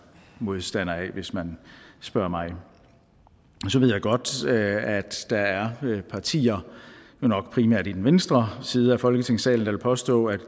modstander af hvis man spørger mig så ved jeg godt at der er partier nok primært i den venstre side af folketingssalen der vil påstå at